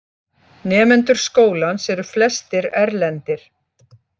Nemendur skólans eru flestir erlendir